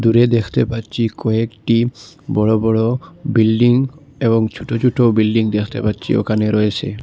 দূরে দেখতে পাচ্ছি কয়েকটি বড়ো বড়ো বিল্ডিং এবং ছোট ছোট বিল্ডিং দেখতে পাচ্ছি ওখানে রয়েছে।